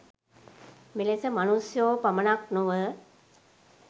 මෙලෙස මනුෂ්‍යයෝ පමණක් නොව